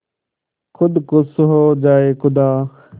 खुद खुश हो जाए खुदा